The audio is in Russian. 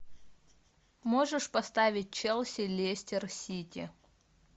можешь поставить челси лестер сити